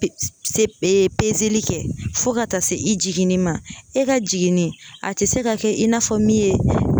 li kɛ fo ka taa se i jiginni ma . E ka jiginni a te se ka kɛ i n'a fɔ min ye